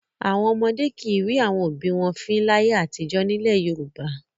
Àwọn ọmọdé kì í rín àwọn òbí wọn fín láyé àtijọ́ nílẹ̀ Yorùbá.